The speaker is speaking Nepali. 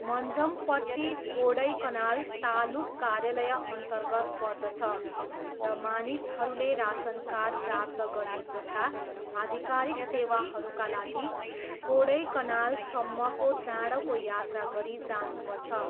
मञ्जमपट्टी कोडैकनाल तालुक कार्यालयअन्तर्गत पर्दछ र मानिसहरूले रासन कार्ड प्राप्त गर्ने जस्ता आधिकारिक सेवाहरूका लागि कोडैकनालसम्मको टाढाको यात्रा गरी जानुपर्छ।